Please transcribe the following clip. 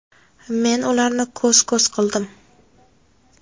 men ularni ko‘z ko‘z qildim.